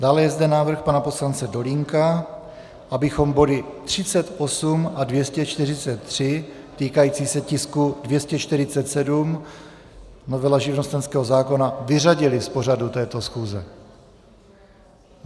Dále je zde návrh pana poslance Dolínka, abychom body 38 a 243, týkající se tisku 247, novela živnostenského zákona, vyřadili z pořadu této schůze.